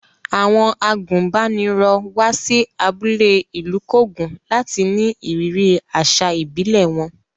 Àwọn àgùnbánirọ̀ wá sí abúlé Ilukogun láti ní ìrírí àṣà ìbílẹ̀ wọn.